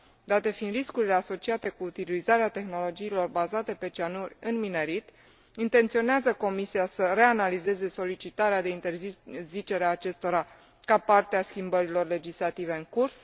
Date fiind riscurile asociate cu utilizarea tehnologiilor bazate pe cianuri în minerit, intenționează Comisia să reanalizeze solicitarea de interzicere a acestora ca parte a schimbărilor legislative în curs?